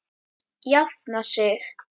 Jafna sig?